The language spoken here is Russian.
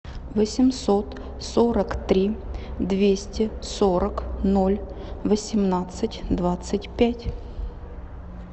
восемьсот сорок три двести сорок ноль восемнадцать двадцать пять